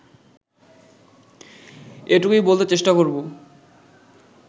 এটুকুই বলতে চেষ্টা করব